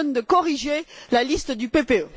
Langen de corriger la liste du PPE.